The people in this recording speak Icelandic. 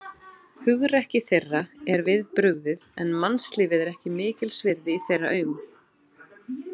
Hugrekki þeirra er við brugðið, en mannslífið er ekki mikils virði í þeirra augum.